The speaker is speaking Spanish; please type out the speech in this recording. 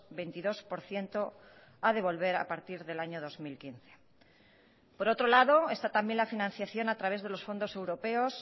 veintidós por ciento a devolver a partir del año dos mil quince por otro lado está también la financiación a través de los fondos europeos